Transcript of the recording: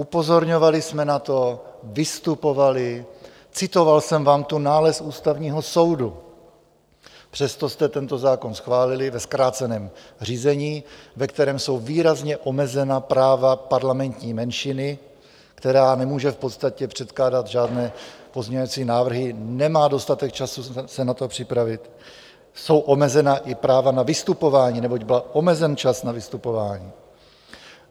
Upozorňovali jsme na to, vystupovali, citoval jsem vám tu nález Ústavního soudu, přesto jste tento zákon schválili ve zkráceném řízení, ve kterém jsou výrazně omezena práva parlamentní menšiny, která nemůže v podstatě předkládat žádné pozměňovací návrhy, nemá dostatek času se na to připravit, jsou omezena i práva na vystupování, neboť byl omezen čas na vystupování.